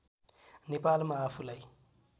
नेपालमा आफूलाई